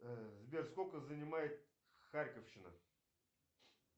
сбер сколько занимает харьковщина